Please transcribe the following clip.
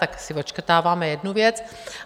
Tak si odškrtáváme jednu věc.